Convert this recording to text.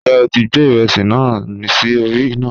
Njẹ o ti gbẹ iresi naa si ori ina?